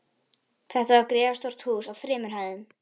Þetta var gríðarstórt hús á þremur hæðum.